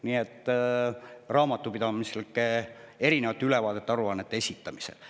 See käib raamatupidamislike ülevaadete-aruannete esitamise kohta.